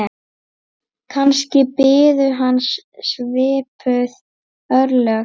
Kannski biðu hans svipuð örlög.